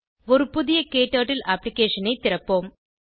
ஒரு புதிய க்டர்ட்டில் அப்ளிகேஷன் ஐ திறப்போம்